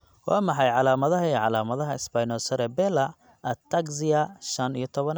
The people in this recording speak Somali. Waa maxay calaamadaha iyo calaamadaha Spinocerebellar ataxia shaan iyo tobnaad?